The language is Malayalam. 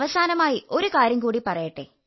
അവസാനമായി ഒരു കാര്യം കൂടി പറയട്ടെ